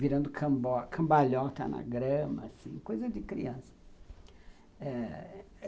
virando cambalhota na grama, assim, coisa de criança.